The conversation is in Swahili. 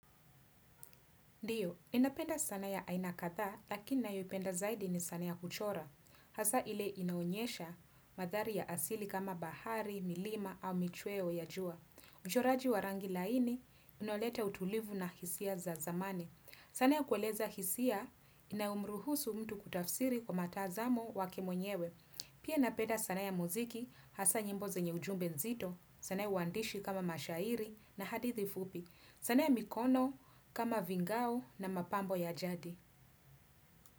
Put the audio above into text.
Ndiyo, ninapenda sanaa ya aina kadha, lakini ninayoipenda zaidi ni sanaa ya kuchora. Hasa ile inaonyesha mandhari ya asili kama bahari, milima au michweo ya jua. Uchoraji wa rangi laini, unaoleta utulivu na hisia za zamani. Sanaa ya kueleza hisia, inayomruhusu mtu kutafsiri kwa mtazamo wake mwenyewe. Pia napenda sanaa ya muziki, hasa nyimbo zenye ujumbe mzito, sanaa ya uandishi kama mashairi na hadithi fupi. Sanaa ya mikono, kama vingau na mapambo ya jadi.